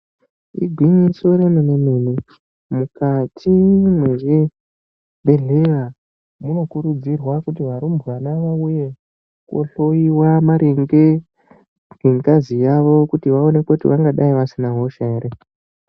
Igwinyiso remene-mene, mukati mwezvibhedhleya munokurudzirwa kuti varumbwana vauye kohloyiwa maringe nengazi yawo kuti vaonekwe kuti vangadai vasina hosha ere.